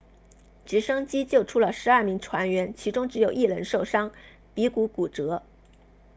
直升机救出了12名船员其中只有一人受伤鼻骨骨折